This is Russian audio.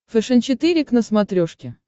фэшен четыре к на смотрешке